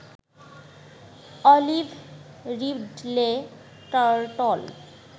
olive ridley turtle